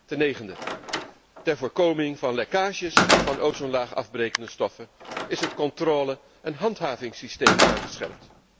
Ten negende, ter voorkoming van lekkages van ozonlaagafbrekende stoffen is het controle en handhavingsysteem aangescherpt.